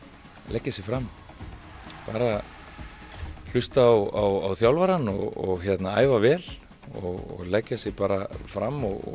leggja sig fram bara hlusta á þjálfarann og æfa vel og leggja sig bara fram og